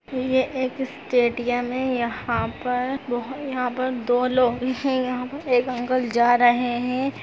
यह एक स्टेडियम है यहां पर बहो-- यहां पर दो लोग हैं यहां पर एक अंकल जा रहे हैं।